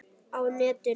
Á netinu